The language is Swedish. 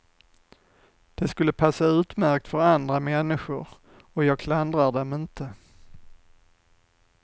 Det skulle passa utmärkt för andra människor, och jag klandrar dem inte.